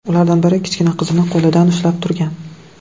Ulardan biri kichkina qizini qo‘lidan ushlab turgan.